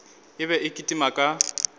e be e kitima ka